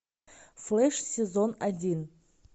флэш сезон один